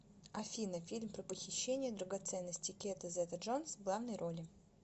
афина фильм про похищение драгоценностей кета зета джонс в главной роли